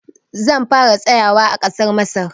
Zan fara tsayawa a ƙasar Masar.